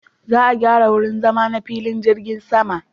Za a gyara wurin zama na filin jirgin sama.